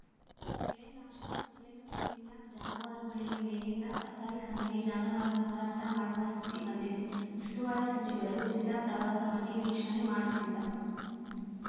ಬೆಳೆ ನಾಶ ಕುಡಿಯಲು ನೀರಿಲ್ಲ ಜಾನುವಾರುಗಳಿಗೆ ಮೇವಿಲ್ಲ ಕಸಾಯಿಖಾನೆಗೆ ಜಾನುವಾರು ಮಾರಾಟ ಮಾಡುವ ಸ್ಥಿತಿ ಬಂದಿದೆ ಉಸ್ತುವಾರಿ ಸಚಿವರು ಜಿಲ್ಲಾ ಪ್ರವಾಸ ಮಾಡಿ ವೀಕ್ಷಣೆ ಮಾಡುತ್ತಿಲ್ಲ